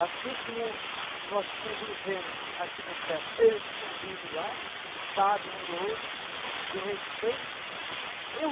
Assim como nós convivemos aqui na terra, eles convivem lá, sabem um do outro, se respeitam. Eu